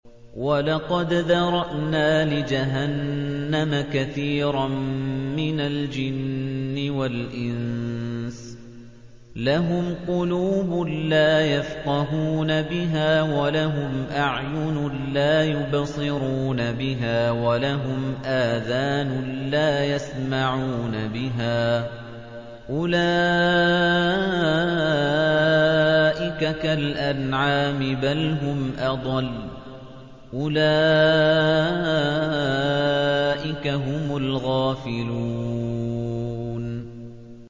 وَلَقَدْ ذَرَأْنَا لِجَهَنَّمَ كَثِيرًا مِّنَ الْجِنِّ وَالْإِنسِ ۖ لَهُمْ قُلُوبٌ لَّا يَفْقَهُونَ بِهَا وَلَهُمْ أَعْيُنٌ لَّا يُبْصِرُونَ بِهَا وَلَهُمْ آذَانٌ لَّا يَسْمَعُونَ بِهَا ۚ أُولَٰئِكَ كَالْأَنْعَامِ بَلْ هُمْ أَضَلُّ ۚ أُولَٰئِكَ هُمُ الْغَافِلُونَ